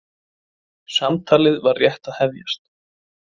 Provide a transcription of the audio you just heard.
Samtalið var rétt að hefjast.